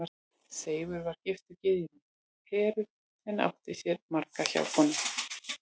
Seifur var giftur gyðjunni Heru en átti sér margar hjákonur.